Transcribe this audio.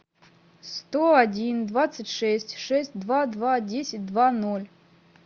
сто один двадцать шесть шесть два два десять два ноль